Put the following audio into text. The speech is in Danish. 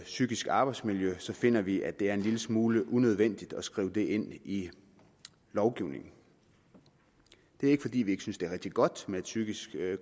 psykisk arbejdsmiljø så finder vi at det er en lille smule unødvendigt at skrive det ind i lovgivningen det er ikke fordi vi ikke synes det er rigtig godt med et psykisk